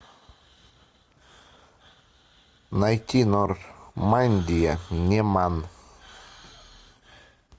найти нормандия неман